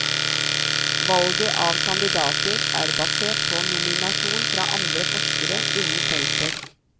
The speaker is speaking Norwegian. Valget av kandidater er basert på nominasjon fra andre forskere innen feltet.